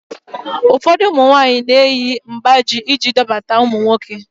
Ufọdu ụmụ nwaanyị na-eyi mgbájí iji dọbata nwoke